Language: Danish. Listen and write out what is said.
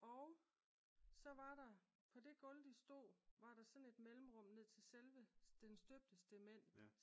Og så var der på det gulv de stod var der sådan et mellemrum ned til selve den støbte stement